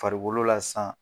Farikolo la san